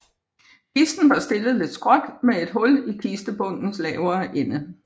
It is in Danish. Kisten var stillet lidt skråt med et hul i kistebundens lavere ende